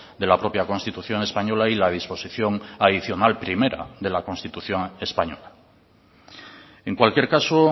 de la propia constitución española y la disposición adicional primera de la constitución española en cualquier caso